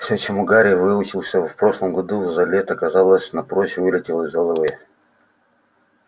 все чему гарри выучился в прошлом году за лето казалось напрочь вылетело из головы